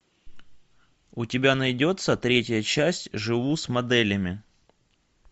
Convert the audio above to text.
у тебя найдется третья часть живу с моделями